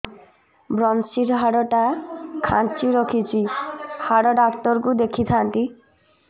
ଵ୍ରମଶିର ହାଡ଼ ଟା ଖାନ୍ଚି ରଖିଛି ହାଡ଼ ଡାକ୍ତର କୁ ଦେଖିଥାନ୍ତି